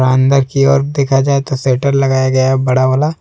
अंदर की ओर देखा जाए तो शटर लगाया गया है बड़ा वाला।